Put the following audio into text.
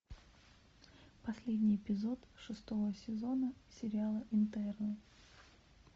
последний эпизод шестого сезона сериала интерны